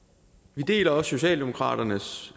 vi deler også socialdemokraternes